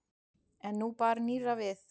En nú bar nýrra við.